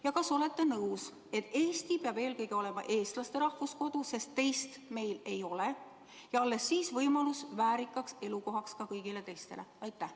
Ja kas olete nõus, et Eesti peab eelkõige olema eestlaste rahvuskodu, sest teist meil ei ole, ja alles siis ka kõigile teistele võimalus elada väärikas elukohas?